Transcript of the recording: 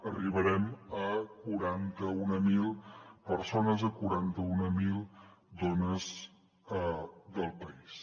arribarem a quaranta mil persones a quaranta mil dones del país